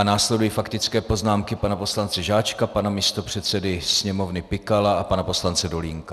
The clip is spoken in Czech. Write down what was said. A následují faktické poznámky - pana poslance Žáčka, pana místopředsedy Sněmovny Pikala a pana poslance Dolínka.